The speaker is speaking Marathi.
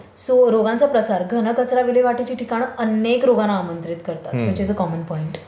करेक्ट.सो रोगांचा प्रसार घन कचरा विल्हेवाटची ठिकाणं अनेक रोगांना आमंत्रित करतात which is a common point.